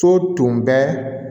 So tun bɛ